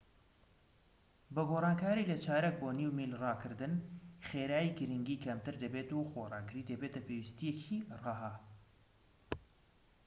بە گۆڕانکاری لە چارەک بۆ نیو میل ڕاکردن خێرایی گرنگی کەمتر دەبێت و خۆڕاگری دەبێتە پێویستیەکی ڕەها